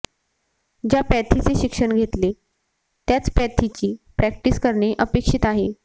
ज्या पॅथीचे शिक्षण घेतले त्याच पॅथीची प्रॅक्टिस करणे अपेक्षित आहे